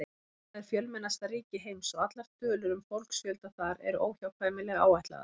Kína er fjölmennasta ríki heims og allar tölur um fólksfjölda þar eru óhjákvæmilega áætlaðar.